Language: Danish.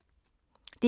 DR2